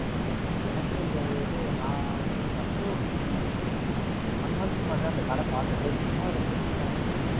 But எனக்கு இது நான் First ஒரு One month க்கு முன்னாடி தான் அந்த கடை பார்த்தேன். சரி சும்மா வந்து ரெம்ப வெயிலா இருக்கு அப்படின்னு,